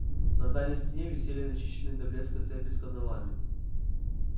на дальней стене висели начищенные до блеска цепи с кандалами